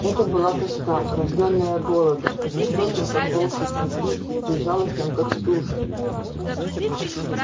это была тоска рождённая голодом жестоким как волчьи клыки безжалостным как стужа